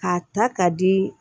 K'a ta k'a di